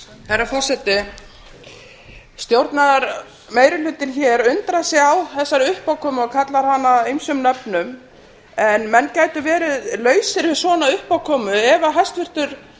herra forseti stjórnarmeirihlutinn hér undrar sig á þessari uppákomu og kallar hana ýmsum nöfnum en menn gætu verið lausir við svona uppákomu ef hæstvirtur